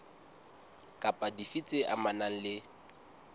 kapa dife tse amanang le